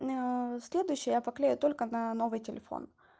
следующее я поклею только на новый телефон